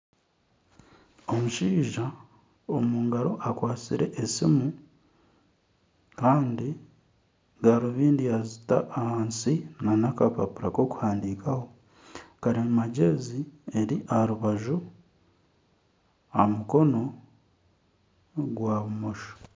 Omushaija omu ngaro akwatsire esimu kandi garubindi yazita ahansi nana akapapura k'okuhandiikaho kandi karimagyezi eri aha rubaju aha mukono gwa bumosho